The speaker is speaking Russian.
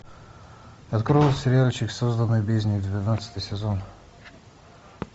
открой сериальчик созданный в бездне двенадцатый сезон